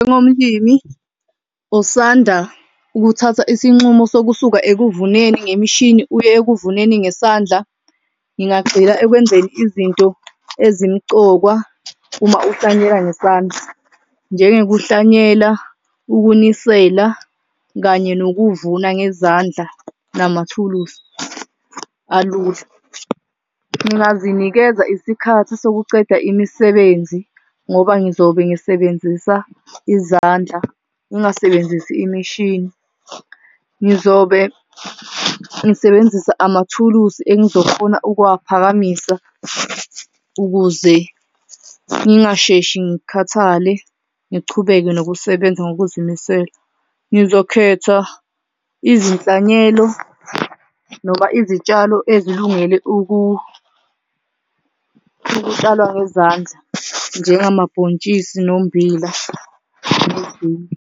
Njengomlimi osanda kuthatha isinqumo sokusuka ekuvuneni ngemishini, uye ekuvuneni ngesandla. Ngingagxila ekwenzeni izinto ezimqoka uma kuhlanyelwa ngesandla. Njengokuhlanyelwa, ukunisela kanye nokuvuna ngezandla namathuluzi alula. Ngingazinikeza isikhathi sokucela imisebenzi ngoba ngizobe ngisebenzisa izandla ngingasebenzisi imishini. Ngizobe ngisebenzisa amathulusi engizofuna ukuwaphakamisa ukuze ngingasheshi ngikhathale ngichubeke nokusebenza ngokuzimisela. Ngizokhetha izinsalelo noma izitshalo ezilungele ukutshalwa ngezandla, njengamabhontshisi nombila nezinye.